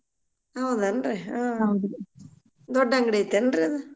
ಹೌದನ್ರಿ ಹಾ